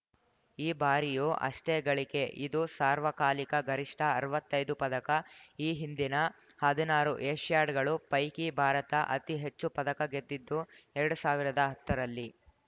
ಈ ಬಾರಿಯೂ ಅಷ್ಟೇ ಗಳಿಕೆ ಇದು ಸಾರ್ವಕಾಲಿಕ ಗರಿಷ್ಠ ಅರವತ್ತೈದು ಪದಕ ಈ ಹಿಂದಿನ ಹದ್ನಾರು ಏಷ್ಯಾಡ್‌ಗಳ ಪೈಕಿ ಭಾರತ ಅತಿ ಹೆಚ್ಚು ಪದಕ ಗೆದ್ದಿದ್ದು ಎರಡು ಸಾವಿರದ ಹತ್ತರಲ್ಲಿ